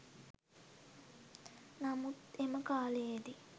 නමුත් එම කාලයේදී